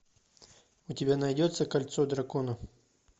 у тебя найдется кольцо дракона